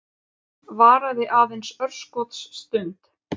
Varaði aðeins örskotsstund.